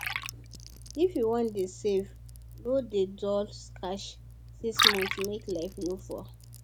if you wan dey safe no dey dull stash six months make life no fall